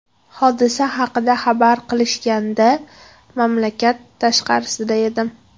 Hodisa haqida xabar qilishganda, mamlakat tashqarisida edim.